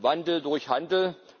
Wandel durch Handel.